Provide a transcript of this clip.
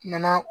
Kumana